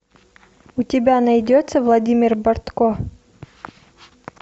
у тебя найдется владимир бартко